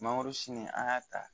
Mangoro sini an y'a ta